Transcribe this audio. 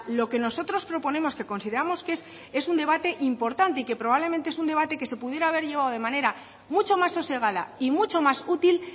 lo que nosotros proponemos que consideramos que es un debate importante y que probablemente es un debate que se pudiera haber llevado de manera mucho más sosegada y mucho más útil